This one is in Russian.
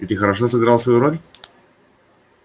и ты хорошо сыграл свою роль